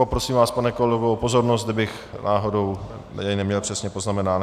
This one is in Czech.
Poprosím vás, pane kolego, o pozornost, kdybych náhodou je neměl přesně poznamenány.